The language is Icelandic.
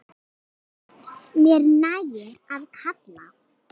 Mér nægir að kalla.